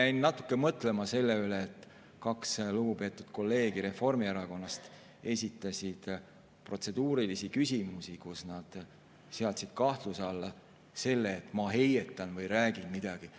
Ma jäin natuke mõtlema selle üle, et kaks lugupeetud kolleegi Reformierakonnast esitasid protseduurilisi küsimusi, kus nad, et ma heietan või ei räägi midagi.